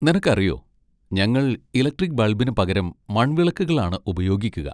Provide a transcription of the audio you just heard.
നിനക്കറിയോ, ഞങ്ങൾ ഇലക്ട്രിക്ക് ബൾബിന് പകരം മൺവിളക്കുകളാണ് ഉപയോഗിക്കുക.